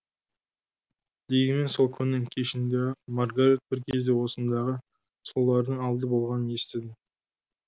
дегенмен сол күннің кешінде ақ маргарет бір кезде осындағы сұлулардың алды болғанын естідім